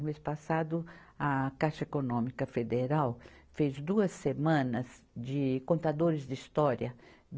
O mês passado, a Caixa Econômica Federal fez duas semanas de contadores de história.